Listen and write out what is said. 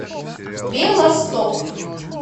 белосток